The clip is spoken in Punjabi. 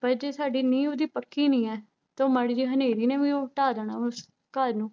ਪਰ ਜੇ ਸਾਡੀ ਨੀਂਹ ਉਹਦੀ ਪੱਕੀ ਨੀ ਹੈ ਤਾਂ ਉਹ ਮਾੜੀ ਜਿਹੀ ਹਨੇਰੀ ਨੇ ਵੀ ਉਹ ਢਾਹ ਦੇਣਾ, ਉਸ ਘਰ ਨੂੰ